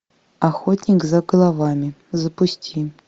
охотник за головами запусти